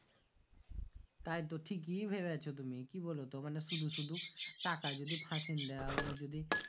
তাই তো ঠিকই ভাবছো তুমি কি বোলো তো সুদু সুদু টাকা যদি ফ্যাসিং দাও নিয়ে যদি